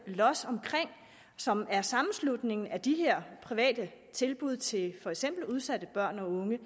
los som er sammenslutningen af de her private tilbud til for eksempel udsatte børn og unge